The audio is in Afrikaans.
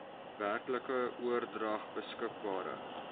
werklike oordrag beskikbare